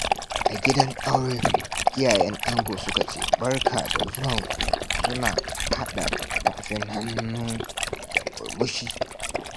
A gidan aure, iyayen ango suka ce, "Barka da zuwan ku" suna haɗa tafin hannu da murmushi.